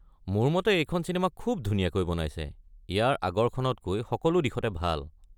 মোৰ মতে এইখন চিনেমা খুব ধুনীয়াকৈ বনাইছে, ইয়াৰ আগৰখনতকৈ সকলো দিশতে ভাল।